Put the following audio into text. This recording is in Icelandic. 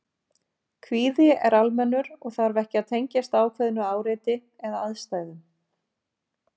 Kvíði er almennur og þarf ekki að tengjast ákveðnu áreiti eða aðstæðum.